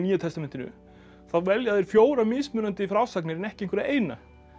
testamentinu þá velja þeir fjórar mismunandi frásagnir en ekki einhverja eina